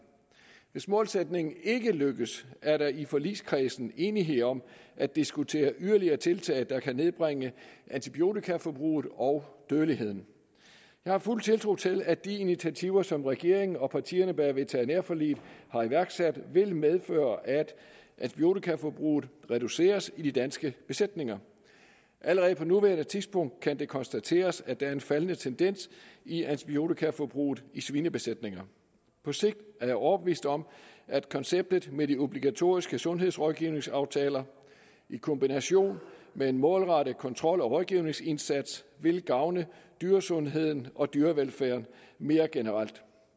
hvis målsætningen ikke lykkes er der i forligskredsen enighed om at diskutere yderligere tiltag der kan nedbringe antibiotikaforbruget og dødeligheden jeg har fuld tiltro til at de initiativer som regeringen og partierne bag veterinærforliget har iværksat vil medføre at antibiotikaforbruget reduceres i de danske besætninger allerede på nuværende tidspunkt kan det konstateres at der er en faldende tendens i antibiotikaforbruget i svinebesætninger på sigt er jeg overbevist om at konceptet med de obligatoriske sundhedsrådgivningsaftaler i kombination med en målrettet kontrol og rådgivningsindsats vil gavne dyresundheden og dyrevelfærden mere generelt